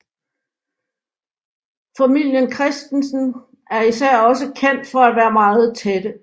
Familien Christensen er især også kendt for at være meget tætte